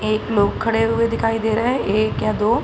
एक लोग खड़े हुए दिखाई दे रहे है। एक या दो --